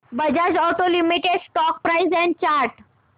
Bajaj auto limited stock price and chart